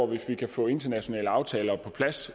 hvis vi kan få internationale aftaler på plads